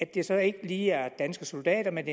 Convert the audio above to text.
det så ikke lige er danske soldater men